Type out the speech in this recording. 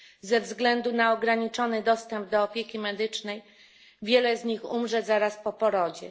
Ze względu na ograniczony dostęp do opieki medycznej wiele z nich umrze zaraz po porodzie.